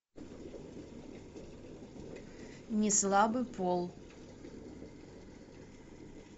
неслабый пол